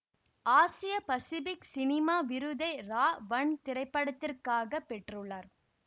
ஆசிய Pacific cinema விருதை ராவன் திரைப்படத்திற்காகப் பெற்றுள்ளார்